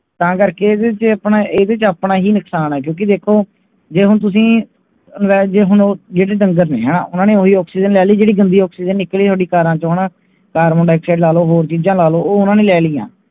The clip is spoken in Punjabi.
ਤਾਂ ਕਰਕੇ ਇਹਦੇ ਤੇ ਆਪਣਾ ਹੀ ਨੁਕਸਾਨ ਹੈ ਕਿਉਕਿ ਕਿ ਦੇਖੋ ਤੁਸੀ ਜਿਹੜੇ ਡੰਗਰ ਨੇ ਉਹਨਾਂ ਨੇ ਉਹੀ Oxygen ਲੈ ਲੇਲੀ ਜਿਹੜੇ ਗੰਦੀ Oxygen ਨਿਕਲੀ ਕਾਰਾ ਚੋ ਹੋਰ ਚੀਜ ਲੇਲੋ ਉਹ ਉਹਨਾਂ ਨੇ ਲੈ ਲਈ ਹਾਂ